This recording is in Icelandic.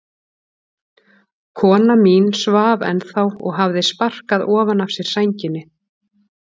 Kona mín svaf ennþá og hafði sparkað ofan af sér sænginni.